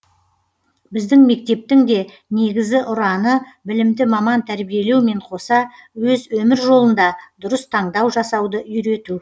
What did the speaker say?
біздің мектептің де негізі ұраны білімді маман тәрбиелеумен қоса өз өмір жолында дұрыс таңдау жасауды үйрету